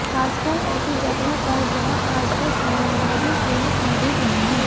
खासकर ऐसी जगहों पर जहां आज के समय में भी क्लीनिक मौजूद नहीं है